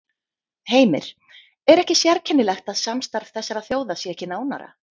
Heimir: Er ekki sérkennilegt að samstarf þessara þjóða sé ekki nánara?